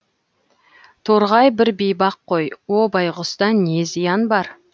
торғай бір бейбақ қой о байғұста не зиян бар